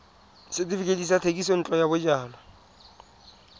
setefikeiti sa thekisontle ya bojalwa